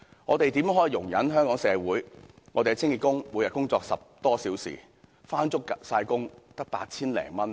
我們怎可以容忍香港社會上的清潔工每天工作10多小時，從不缺勤，收入卻只有 8,000 多元呢？